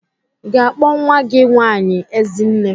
I ga-akpọ nwa gị nwaanyị Ezinne?